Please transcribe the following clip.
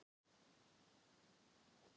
Þetta fólk heldur bíla eins og bedúínar kameldýr.